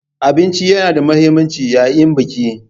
Abinci yana da mahimmanci yayin Biki.